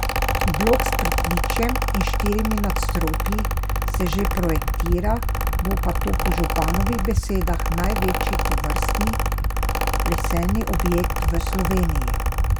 Blok s pritličjem in štirimi nadstropji se že projektira, bo pa to po županovih besedah največji tovrstni leseni objekt v Sloveniji.